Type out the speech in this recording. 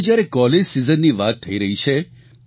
હવે જ્યારે કોલેજ સીઝનની વાત થઇ રહી છે